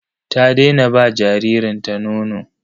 Ta daina ba jaririnta nono.